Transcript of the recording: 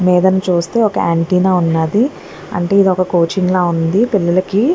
మీదన చూస్తే ఒక యాంటీనా ఉన్నది అంటే ఇది ఒక కోచింగ్ లాగా ఉంది పిల్లలకి.